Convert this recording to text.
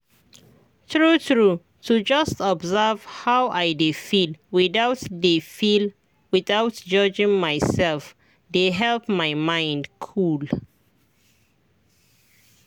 true true to just observe how i dey feel without dey feel without judging myself dey help my mind cool.